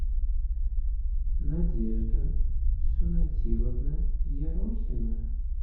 надежда сунатиловна ерохина